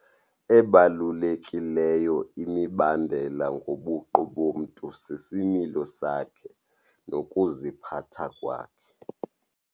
Ebalulekileyo imibandela ngobuqu bomntu sisimilo sakhe nokuziphatha kwakhe.